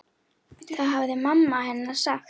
Það hafði mamma hennar sagt.